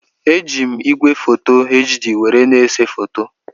Eji m igwefoto HD were na-ese foto.